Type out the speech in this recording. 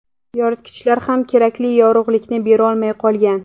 Yoritgichlar ham kerakli yorug‘likni berolmay qolgan.